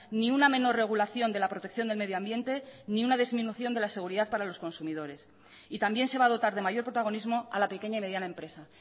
ni una menor regulación de la protección del medioambiente ni una disminución de la seguridad para los consumidores y también se va a dotar de mayor protagonismo a la pequeña y mediana empresa